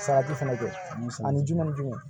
Salati fɛnɛ don musaka ni juru ni ju